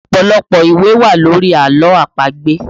Ọpọlọpọ ìwé wà lórí àlọ́ àpagbè